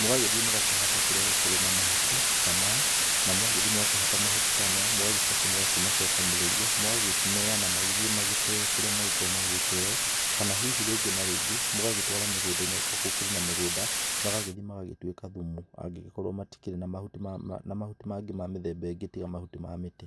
Mũgagĩthiĩ mũgakĩhata kũria gũkĩrĩ na mahuti ta maya na mwagithiĩ mwakĩhata mahuti ta maya mũgagĩcoka mũkamacokanĩrĩria. Mũgakĩneana magĩthiĩ magagĩteo kũrĩa magĩkoragwo magĩgĩteo. Kana hihi rĩngĩ na rĩngĩ magagĩtwarwo mĩgũnda-inĩ akorwo gũkĩrĩ na mĩgũnda magagĩthi magagĩtuĩka thumu angĩgĩkorwo matikĩrĩ na mahuti mangĩ ma mĩthemba ĩngĩ tiga mahuti ma mĩtĩ.